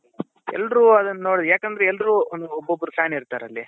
ಎಲ್ಲರೂ ಅದುನ್ನ ನೋಡಿ ಯಾಕಂದ್ರೆ ಎಲ್ಲರೂ ಒಬ್ಬೊಬ್ರು fan ಇರ್ತಾರೆ ಅಲ್ಲಿ